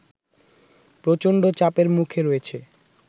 প্রচণ্ড চাপের মুখে রয়েছে